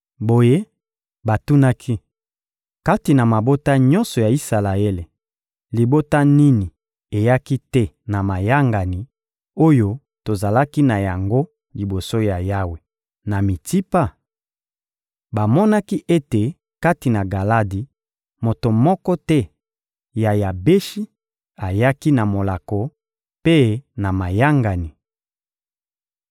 Boye, batunaki: «Kati na mabota nyonso ya Isalaele, libota nini eyaki te na mayangani oyo tozalaki na yango liboso ya Yawe, na Mitsipa?» Bamonaki ete kati na Galadi, moto moko te ya Yabeshi ayaki na molako mpe na mayangani.